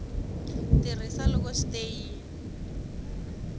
tirhisa loko swi te yini